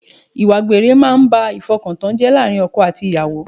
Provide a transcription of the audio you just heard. Ìwà àgbèrè máa ń ba ìfọkantán jẹ́ láàárín ọkọ àti ìyàwó